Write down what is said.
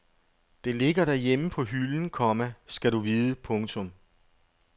Det ligger derhjemme på hylden, komma skal du vide. punktum